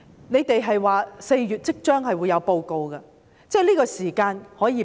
你們表示會在4月提交報告，我們可以給你這個時間。